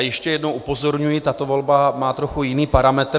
A ještě jednou upozorňuji, tato volba má trochu jiný parametr.